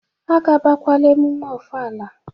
Agabakwala ememe ofala